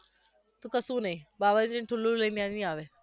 તો કશુ નહિ બાબજીનુ ઠુલ્લુ લઈને અવી આવે